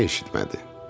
Məni eşitmədi.